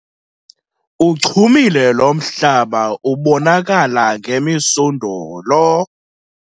Uchumile lo mhlaba ubonakala ngemisundulo.